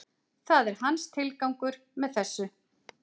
Það er hans tilgangur með þessu